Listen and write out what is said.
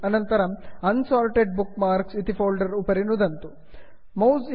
अनन्तरं unsorted bookmarks unsorted bookmarks इति folder उपरि नुदन्तु